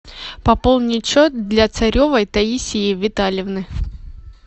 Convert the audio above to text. пополнить счет для царевой таисии витальевны